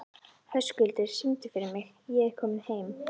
Höskuldur, syngdu fyrir mig „Ég er kominn heim“.